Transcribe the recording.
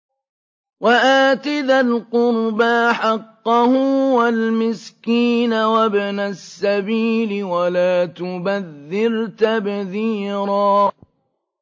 وَآتِ ذَا الْقُرْبَىٰ حَقَّهُ وَالْمِسْكِينَ وَابْنَ السَّبِيلِ وَلَا تُبَذِّرْ تَبْذِيرًا